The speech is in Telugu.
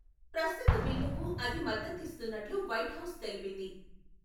ప్రస్తుత బిల్లుకు అది మద్దతిస్తున్నట్లు వైట్హౌస్ తెలిపింది.